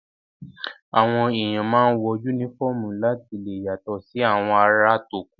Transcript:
Àwọn èèyàn máa ń wọ yúnífọ̀mù láti lè yàtọ̀ sí àwọn ará tókù